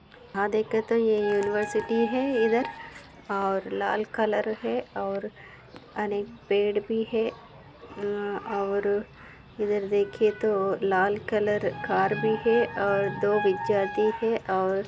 यहाँ देखे तो ये यूनिवर्सिटी है इधर और लाल कलर है और अनेक पेड़ भी है अ- और इधर देखे तो लाल कलर कार भी है और दो विद्यार्थी है और--